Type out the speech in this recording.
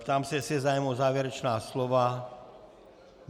Ptám se, jestli je zájem o závěrečná slova.